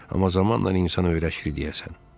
Amma zamanla insan öyrəşir deyəsən.